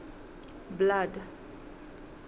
blood